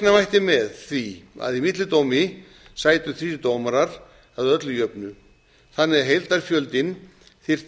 reikna mætti með því að í millidómi sætu þrír dómarar að öllu jöfnu þannig að heildarfjöldinn þyrfti